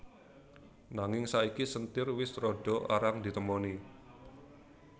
Nanging saiki senthir wis rada arang ditemoni